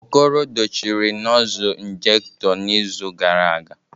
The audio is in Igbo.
Okoro dochie nozzle injekto n'izu gara aga